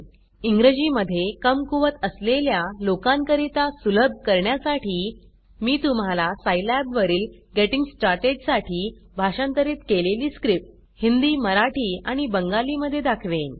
इंग्रजी मध्ये कमकुवत असलेल्या लोकां करिता सुलभ करण्यासाठी मी तुम्हाला सिलाब वरील गेटिंग स्टार्टेड साठी भाषांतरित केलेली स्क्रिप्ट हिंदी मराठी आणि बंगाली मध्ये दाखवेन